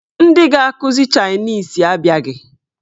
Ndị ga-akụzi chaịnis abịaghị.